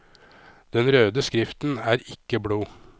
Den røde skriften er ikke blod.